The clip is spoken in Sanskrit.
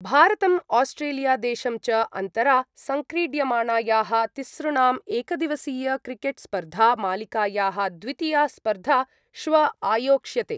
भारतम् आस्ट्रेलिया देशं च अन्तरा सङ्क्रीड्यमाणायाः तिसृणाम् एकदिवसीयक्रिकेट्स्पर्धा मालिकायाः द्वितीया स्पर्धा श्व आयोक्ष्यते।